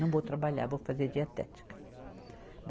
Não vou trabalhar, vou fazer dietética.